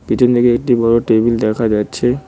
পিছন দিকে একটি বড়ো টেবিল দেখা যাচ্ছে।